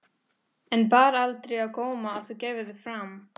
En bar aldrei á góma að þú gæfir þig fram?